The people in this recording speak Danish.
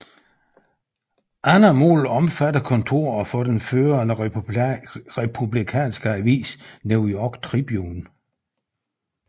Andre mål omfattedekontoret for den førende Republikanske avis New York Tribune